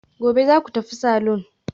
Gobe ​​zaku tafi salon?